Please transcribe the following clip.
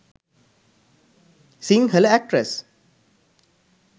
sinhala actress